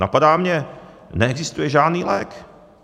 Napadá mě - neexistuje žádný lék.